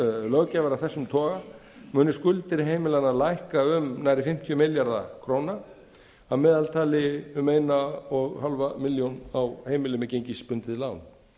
löggjafar af þessum toga muni skuldir heimilanna lækka um nærri fimmtíu milljarða króna að meðaltali um nærri eins og hálfa milljón króna á heimili með gengisbundið lán